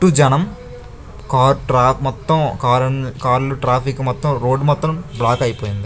చుట్టు జనం car track మొత్తం కార్లు ట్రాఫిక్ మొత్తం రోడ్ మొత్తం బ్లాక్ అయిపోయింది .